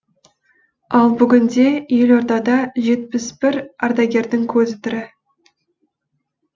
ал бүгінде елордада жетпіс бір ардагердің көзі тірі